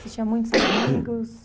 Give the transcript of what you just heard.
Você tinha muitos amigos?